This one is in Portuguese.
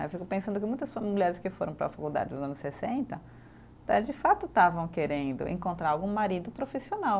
Eu fico pensando que muitas mulheres que foram para a faculdade nos anos sessenta, tá de fato estavam querendo encontrar algum marido profissional.